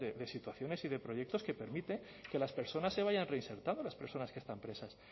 de situaciones y de proyectos que permiten que las personas se vayan reinsertado las personas que están presas